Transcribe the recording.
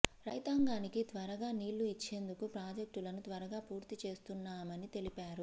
రైతాంగానికి త్వరగా నీళ్లు ఇచ్చేందుకు ప్రాజెక్టులను త్వరగా పూర్తి చేస్తున్నామని తెలిపారు